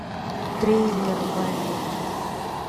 трейлер валли